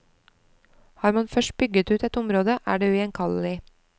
Har man først bygget ut et område, er det ugjenkallelig.